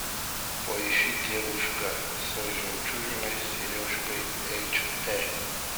поищи девушка с жемчужной сережкой эйч д